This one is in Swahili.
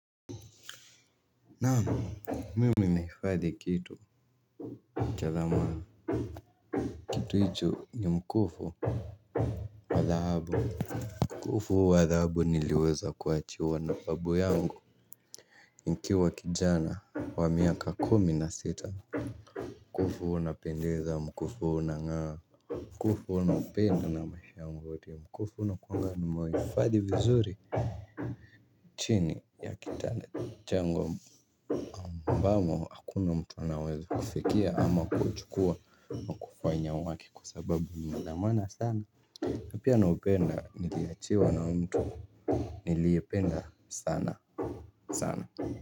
Naamu mimi naifadhi kitu cha dhamana kitu icho ni mkufu wa dhahabu. Mkufu wa dhahabu niliweza kuachiwa na babu yangu. Nikiwa kijana wa miaka kumi na sita mkufu unapendeza mkufu unangaa. Mkufu naupenda na maisha wote mkufu nakuangaa nimeifadhi vizuri chini ya kitanda changu ambamo ambamo hakuna mtu anaweza kufikia ama kuchukua na kufanya haki kwa sababu ni wa dhamana sana pia naupenda niliyachiwa na mtu niliyependa sana sana.